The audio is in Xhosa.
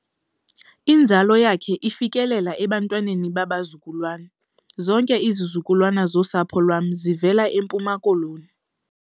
Inzalo yakhe ifikelela ebantwaneni babazukulwana. zonke izizukulwana zosapho lwam zivela eMpuma Koloni